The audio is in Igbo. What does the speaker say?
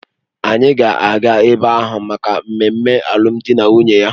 Anyị ga-aga ebe ahụ maka mmemme alụmdi na nwunye ya